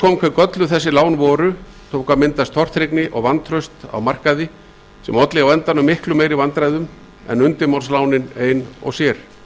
hve gölluð þessi lán voru tók að myndast tortryggni og vantraust á markaði sem olli á endanum miklu meiri vandræðum en undirmálslánin ein og sér